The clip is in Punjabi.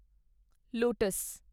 ਲੋਟਸ